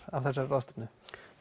af þessari ráðstefnu